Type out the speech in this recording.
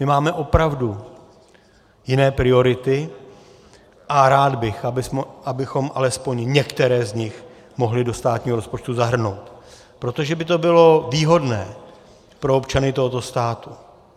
My máme opravdu jiné priority a rád bych, abychom alespoň některé z nich mohli do státního rozpočtu zahrnout, protože by to bylo výhodné pro občany tohoto státu.